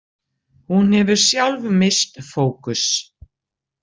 Hún hefur sjálf misst fókus.